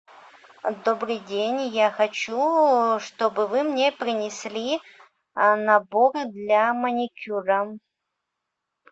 добрый день я хочу чтобы вы мне принесли набор для маникюра